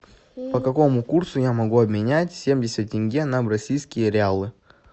по какому курсу я могу обменять семьдесят тенге на бразильские реалы